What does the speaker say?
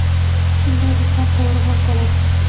Shunday desam, to‘g‘riroq bo‘ladi.